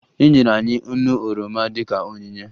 Enyere anyị nnu oroma dịka onyinye